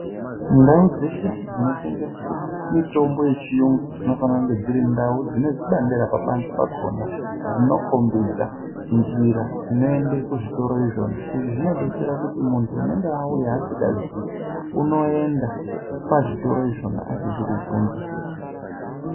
Ndau dzeshe dzintengeswe mitombo yechiyungu dzinofanire kunge dziri ndau dzine zvibandera panze pakona. Zvinokombidza njira inoenda kuzvitoro izvona, izvi zvinobetsera kuti muntu unonga auya asikaziyi unoenda pazvitoro izvona asizi kubvunza.